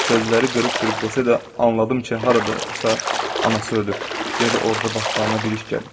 Sözləri qırıq-qırıq desə də anladım ki, haradasa anası ölür, ya da orada başlarına bir iş gəlib.